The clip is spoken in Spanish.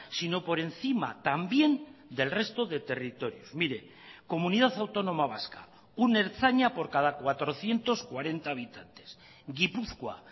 sino por encima también del resto de territorios mire comunidad autónoma vasca un ertzaina por cada cuatrocientos cuarenta habitantes gipuzkoa